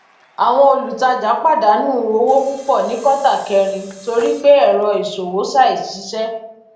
àwọn olùtajà pàdánù owó púpọ ní kótà kẹrin torí pé ẹrọ ìṣòwò ṣàìṣiṣẹ